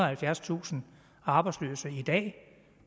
og halvfjerdstusind arbejdsløse i dag